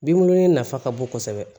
Binbulu in nafa ka bon kosɛbɛ